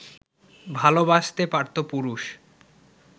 ভালোবাসতে পারতো পুরুষ